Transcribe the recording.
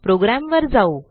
प्रोग्रॅमवर जाऊ